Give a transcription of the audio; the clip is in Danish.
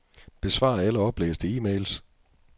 Besvar alle oplæste e-mails.